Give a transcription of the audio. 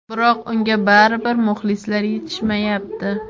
biroq unga baribir muxlislar yetishmayapti.